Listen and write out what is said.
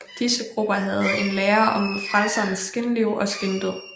Disse grupper havde en lære om frelserens skinliv og skindød